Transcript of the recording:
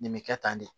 Nin bɛ kɛ tan de